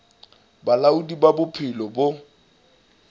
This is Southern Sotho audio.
ba bolaodi ba bophelo bo